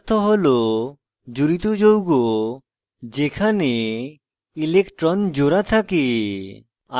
low এর অর্থ হল জুড়িত যৌগ যেখানে electrons জোড়া থাকে